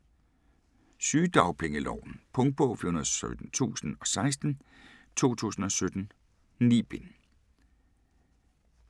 Sygedagpengeloven Punktbog 417016 2017. 9 bind.